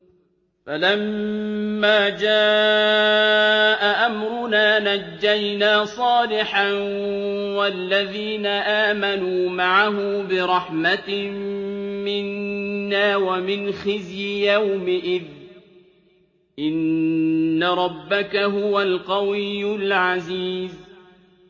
فَلَمَّا جَاءَ أَمْرُنَا نَجَّيْنَا صَالِحًا وَالَّذِينَ آمَنُوا مَعَهُ بِرَحْمَةٍ مِّنَّا وَمِنْ خِزْيِ يَوْمِئِذٍ ۗ إِنَّ رَبَّكَ هُوَ الْقَوِيُّ الْعَزِيزُ